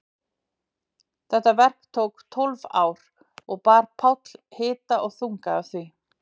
Þetta verk tók tólf ár og bar Páll hita og þunga af því.